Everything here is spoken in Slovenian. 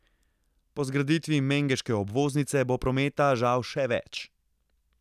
Po zgraditvi mengeške obvoznice bo prometa žal še več.